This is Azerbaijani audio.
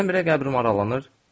Birdən-birə qəbrim aralanır.